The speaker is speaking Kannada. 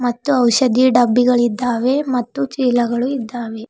ಮತ್ತು ಔಷಧಿ ಡಬ್ಬಿಗಳಿದ್ದಾವೆ ಮತ್ತು ಚೀಲಗಳು ಇದ್ದಾವೆ.